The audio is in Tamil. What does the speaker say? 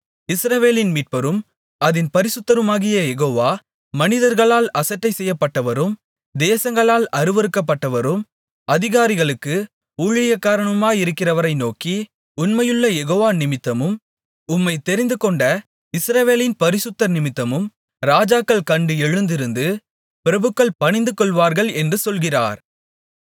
இஸ்ரவேலின் மீட்பரும் அதின் பரிசுத்தருமாகிய யெகோவா மனிதர்களால் அசட்டைசெய்யப்பட்டவரும் தேசங்களால் அருவருக்கப்பட்டவரும் அதிகாரிகளுக்கு ஊழியக்காரனுமாயிருக்கிறவரை நோக்கி உண்மையுள்ள யெகோவா நிமித்தமும் உம்மைத் தெரிந்துகொண்ட இஸ்ரவேலின் பரிசுத்தர்நிமித்தமும் ராஜாக்கள் கண்டு எழுந்திருந்து பிரபுக்கள் பணிந்துகொள்வார்கள் என்று சொல்கிறார்